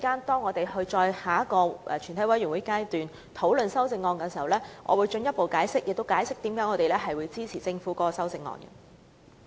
稍後在全體委員會審議階段討論修正案時，我會進一步解釋為何我們支持政府的修正案。